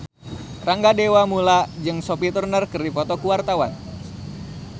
Rangga Dewamoela jeung Sophie Turner keur dipoto ku wartawan